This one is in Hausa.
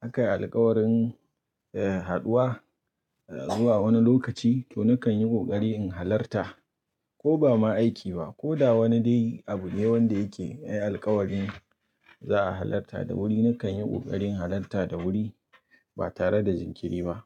aka yi alkawarin, eh, haduwa. Zuwa wani lokaci to nakan yi kokari in halarta ko ba ma aiki ba ko da wani dai abu ne wanda yake alkawari za a halarta da wuri nakan yi kokarin halarta da wuri ba tare da jinkiri ba.